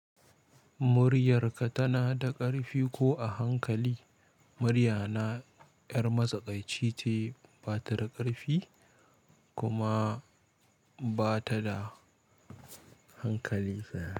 Muryarka tana da ƙarfi ko a hankali? Muryana 'yar matsakaici ce, ba ta da ƙarfi kuma ba ta da hankali.